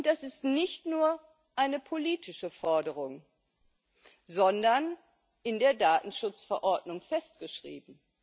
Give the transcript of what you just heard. Und das ist nicht nur eine politische Forderung, sondern in der Datenschutzverordnung festgeschrieben.